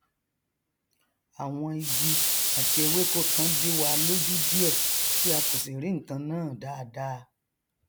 àwọn igi àti ewéko kan díwa lójú díẹ tí a kò sì rí nkan náà dáadáa